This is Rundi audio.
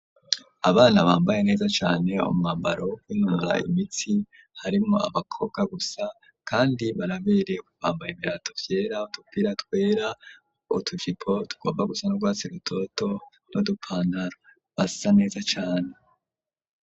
Abana bambaye neza cane umwambaro ,wo kunura imitsi harimwo abakobwa gusa, kandi baraberewe, bambaye ibirato vyera ,Udupira twera ,utujipo tugomba gusa n'urwatsi rutoto nu dupantaro ,basa neza cane.